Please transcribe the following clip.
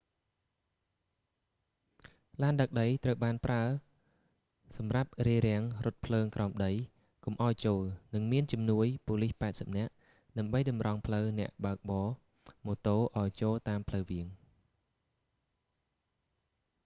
ឡានដឹកដីត្រូវបានប្រើសម្រាប់រារាំងរថភ្លើងក្រោមដីកុំឱ្យចូល និងមានជំនួយប៉ូលីស80នាក់ ដើម្បីតម្រង់ផ្លូវអ្នកបើកបរម៉ូតូឱ្យចូលតាមផ្លូវវាង